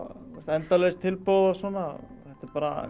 endalaust tilboð og svona þetta er bara